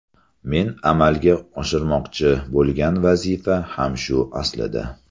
Men amalga oshirmoqchi bo‘lgan vazifa ham shu aslida.